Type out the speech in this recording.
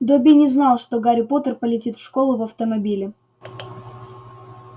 добби не знал что гарри поттер полетит в школу в автомобиле